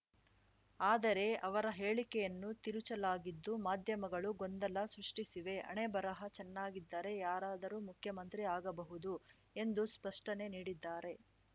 ಆದರೆ ಅವರ ಹೇಳಿಕೆಯನ್ನು ತಿರುಚಲಾಗಿದ್ದು ಮಾಧ್ಯಮಗಳು ಗೊಂದಲ ಸೃಷ್ಟಿಸಿವೆ ಹಣೆ ಬರಹ ಚೆನ್ನಾಗಿದ್ದರೆ ಯಾರಾದರೂ ಮುಖ್ಯಮಂತ್ರಿ ಆಗಬಹುದು ಎಂದು ಸ್ಪಷ್ಟನೆ ನೀಡಿದ್ದಾರೆ